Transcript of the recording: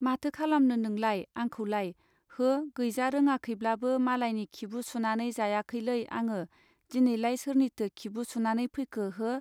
माथो खालामनो नोंलाइ आंखौलाय हो गैजा रोङाखैब्लाबो मालाइनि खिबु सुनानै जायाखैलै आङो दिनैलाय सोरनिथो खिबु सुनानै फैखो हो.